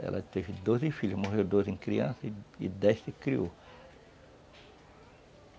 Ela teve doze filhos, morreram dois em criança e dez se criaram.